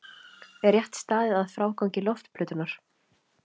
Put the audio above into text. Er rétt staðið að frágangi loftplötunnar?